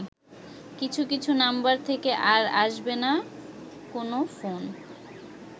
কিছু কিছু নাম্বার থেকে আর আসবেনা কোন ফোন